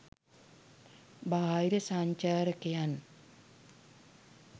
බාහිර සංචාරකයන්